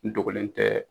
N dogolen tɛ